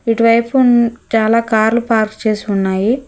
ఇటు వైపున్ చాలా కార్లు పార్క్ చేసి ఉన్నాయి.